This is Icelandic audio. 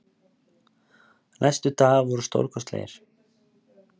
Næstu dagar voru stórkostlegir.